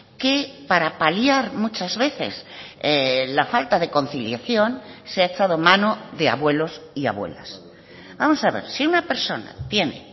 que para paliar muchas veces la falta de conciliación se ha echado mano de abuelos y abuelas vamos a ver si una persona tiene